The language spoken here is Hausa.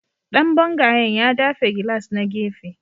Dan bangayen ya dafe gilas na gefe